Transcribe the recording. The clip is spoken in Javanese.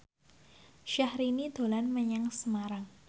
Syahrini dolan menyang Semarang